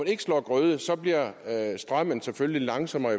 ikke slår grøde bliver strømmen selvfølgelig langsommere